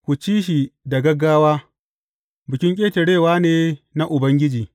Ku ci shi da gaggawa; Bikin Ƙetarewa ne na Ubangiji.